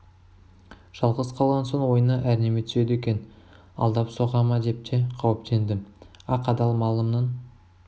жалғыз қалған соң ойыңа әрнеме түседі екен алдап соға ма деп те қауіптендім ақ адал малымның